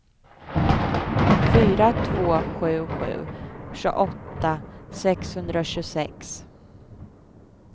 fyra två sju sju tjugoåtta sexhundratjugosex